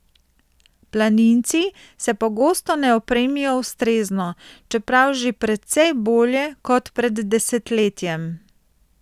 Planinci se pogosto ne opremijo ustrezno, čeprav že precej bolje kot pred desetletjem.